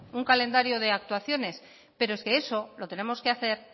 un calendario de actuaciones pero es que eso lo tenemos que hacer